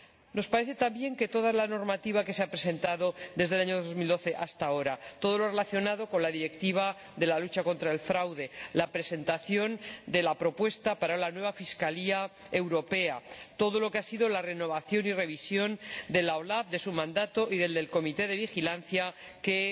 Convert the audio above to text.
Nos parece también que toda la normativa que se ha presentado desde el año 2012 hasta ahora —la relacionada con la Directiva relativa a la lucha contra el fraude, la presentación de la propuesta para la nueva Fiscalía europea, la renovación y revisión de la OLAF, de su mandato y el del Comité de Vigilancia que